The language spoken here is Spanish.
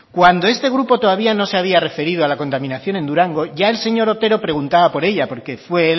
cuando este grupo todavía no se había referido a la contaminación en durango ya el señor otero preguntaba por ella porque fue